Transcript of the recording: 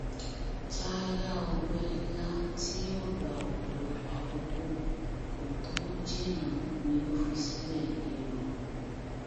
chalya ọgbẹ ńlá tí yóò gba ọpọlọpọ àkókò kó tóó jinná ni ó fi sílẹ yìí o